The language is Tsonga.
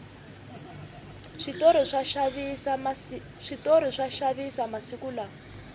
switori swa xavisa masiku lawa